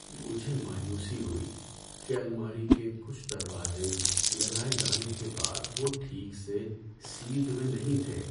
مجھے مایوسی ہوئی کہ الماری کے کچھ دروازے لگائے جانے کے بعد وہ ٹھیک سے سیدھ میں نہیں تھے۔